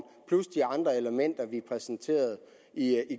plus de andre elementer vi præsenterede i